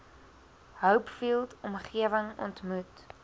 hopefield omgewing ontmoet